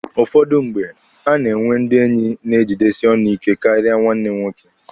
Ụfọdụ mgbe, a na-enwe ndị enyi na-ejidesi ọnụ ike karịa nwanne nwoke.